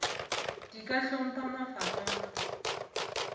di ka hlopha mafapa a